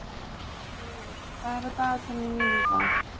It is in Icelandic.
Auður, hvað er á dagatalinu mínu í dag?